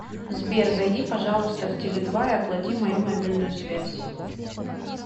сбер зайди пожалуйста в теле два и оплати мою мобильную связь